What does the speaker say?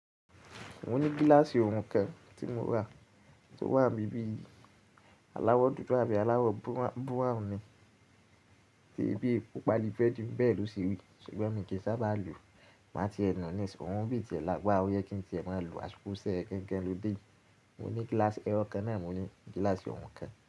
Mo ní gíláàsì òòrùn kan tí mo rà tí ó wà i bíi àbí yii, alawọ dúdú àbí alawọ búráwùn ni tiibi paali bureedì bẹ́ẹ̀ lọ se ri ṣùgbọ́n mi kì í sábà lo. Má ti ẹ nù níisin, òrun ibí tìẹ̀ lágbàra ó yẹ kí n tìẹ̀ mọ́ lọ àsìkò sẹ̀ re gangan ló de ii. Mo ní gíláàsì ẹyo kan náà mi mo ní, gíláàsì òòrùn kan.